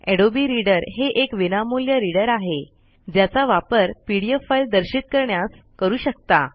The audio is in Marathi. अडोबे रीडर हे एक विनामूल्य रीडर आहे ज्याचा वापर पीडीएफ फाईल दर्शित करण्यास करू शकता